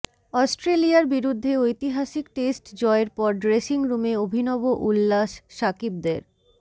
অস্ট্রেলিয়ার বিরুদ্ধে ঐতিহাসিক টেস্ট জয়ের পর ড্রেসিং রুমে অভিনব উল্লাস সাকিবদের